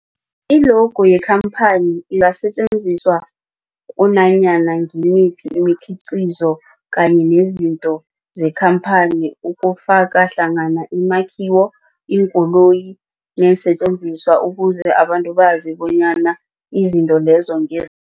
I-logo yekhamphani ingasetjenziswa kunanyana ngimuphi umkhiqizo kanye nezinto zekhamphani okufaka hlangana imakhiwo, iinkoloyi neensentjenziswa ukuze abantu bazi bonyana izinto lezo ngez